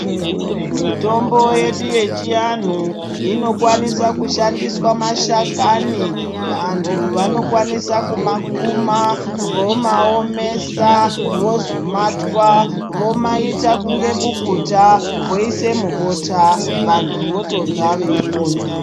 mitombo yedu yechianhu inokwanisa kushandiswa mashakani. Vantu vanokwanisa kumakuma vomaomesa vozomatwa vomaita kunge bukuta. Vantu votorya veipona.